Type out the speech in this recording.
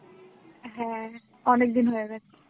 হ্যাঁ, অনেকদিন হয়ে গেছে.